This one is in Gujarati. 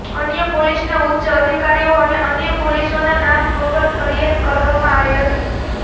અન્ય પોલીસના ઉચ્ચ અધિકારીઓ અને અન્ય પોલીસોના નામ વગર ફરિયાદ કરવામાં આવી હતી